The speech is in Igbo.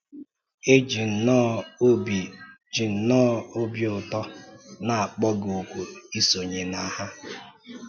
E ji nnọọ obi ji nnọọ obi ụtọ na-akpọ gị òkù isonye na ha.